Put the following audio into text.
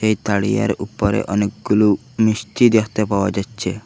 এই তারিয়ার উপরে অনেকগুলো মিষ্টি দেখতে পাওয়া যাচ্ছে।